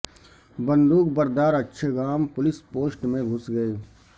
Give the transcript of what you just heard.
بندوق بردار Achhgam police post میں گھس گئے